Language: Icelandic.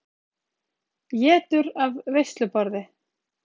Étur af veisluborði.